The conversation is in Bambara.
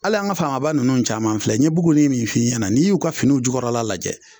Hali an ŋa famaba ninnu caman filɛ n ye buguni min f'i ɲɛna n'i y'u ka finiw in jukɔrɔla lajɛ